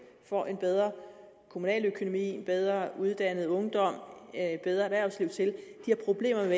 får en bedre kommunaløkonomi en bedre uddannet ungdom et bedre erhvervsliv har problemer